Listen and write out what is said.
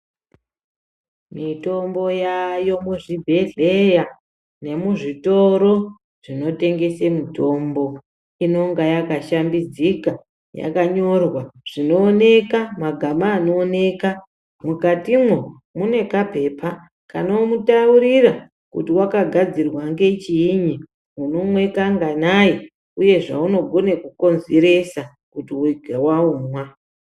Mitombo yayo muzvibhedhleya nemuzvitoro zvinotengese mitombo, inonga yakashambidzika, yakanyorwa zvinowoneka, magama anowoneka, mukatimwo mune kapepa kanomutaurira kuti wakagadzirwa ngechiyinyi, unomwe kanganayi uye zvaunogone kukonzeresa kuti waumwa.